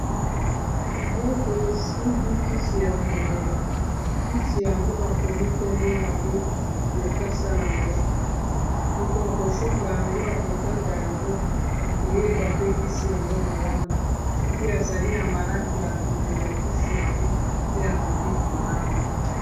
Liboko esimbi kisi ya komela, kisi yango bakomi nkombo nango na lokasa nango. Moto akosomba yango akotanga yango akoyeba pe kisi yango malamu, soki azali na maladi akomela kisi yango pe akobika malamu.